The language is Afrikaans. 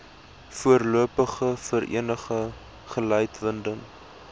voorlopige vereniging gelikwideer